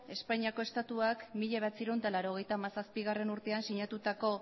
espainiako estatuak mila bederatziehun eta laurogeita hamazazpigarrena urtean sinatutako